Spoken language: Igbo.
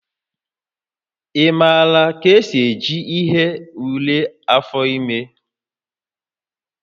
Ị maara ka esi eji ihe ule afọ ime?